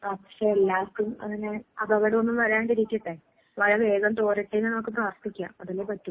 പക്ഷെ എല്ലാർക്കും അങ്ങനെ അപകടം ഒന്നും വരാണ്ടിരിക്കട്ടെ, മഴ വേഗം തോരട്ടെ എന്ന് നമുക്ക് പ്രാർത്ഥിക്കാം. അതല്ലേ പറ്റൂ.